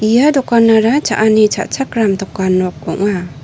ia dokanara cha·ani cha·chakram dokan nok ong·a.